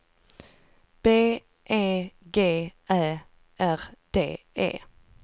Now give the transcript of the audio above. B E G Ä R D E